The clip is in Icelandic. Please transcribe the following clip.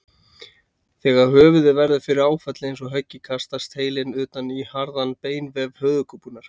Þegar höfuðið verður fyrir áfalli eins og höggi kastast heilinn utan í harðan beinvef höfuðkúpunnar.